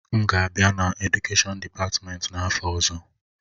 M ga-abịa na Edukèshọn dịpatmenti n'afọ ọzọ.